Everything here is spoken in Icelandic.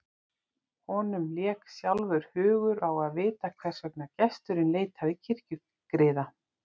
Honum lék sjálfum hugur á að vita hvers vegna gesturinn leitaði kirkjugriða.